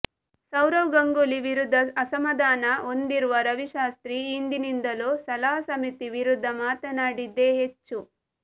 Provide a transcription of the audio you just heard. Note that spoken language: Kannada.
ಸೌರವ್ ಗಂಗೂಲಿ ವಿರುದ್ಧ ಅಸಮಾಧಾನ ಹೊಂದಿರುವ ರವಿಶಾಸ್ತ್ರಿ ಈ ಹಿಂದಿನಿಂದಲೂ ಸಲಹಾ ಸಮಿತಿ ವಿರುದ್ಧ ಮಾತನಾಡಿದ್ದೇ ಹೆಚ್ಚು